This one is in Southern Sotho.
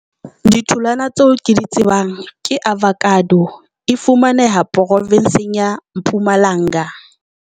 Ditholwana tseo ke di tsebang ke avakado, e fumaneha porofenseng ya Mpumalanga.